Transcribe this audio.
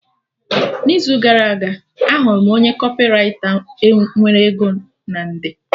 N'izu gara aga, ahụrụ m onye kọpịraita nwere ego na nde